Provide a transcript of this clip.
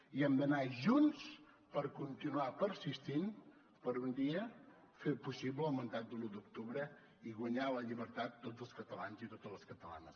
i hem d’anar junts per continuar persistint per un dia fer possible el mandat de l’u d’octubre i guanyar la llibertat tots els catalans i totes les catalanes